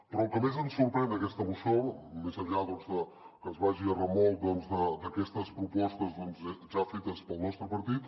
però el que més ens sorprèn d’aquesta moció més enllà de que es vagi a remolc d’aquestes propostes ja fetes pel nostre partit